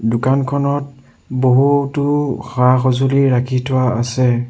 দোকানখনত বহুতো সা-সঁজুলি ৰাখি থোৱা আছে।